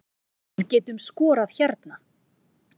Við getum skorað hérna